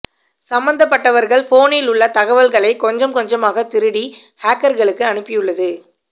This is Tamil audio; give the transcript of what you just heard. சம்பந்தப்பட்டவர்கள் போனில் உள்ள தகவல்களைக் கொஞ்சம் கொஞ்சமாகத் திருடி ஹக்கர்களுக்கு அனுப்பியுள்ளது